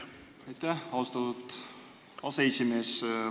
Aitäh, austatud aseesimees!